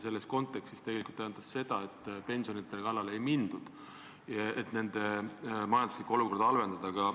Selles kontekstis tähendas see, et pensionide kallale ei mindud, selleks et mitte pensionäride majanduslikku olukorda halvendada.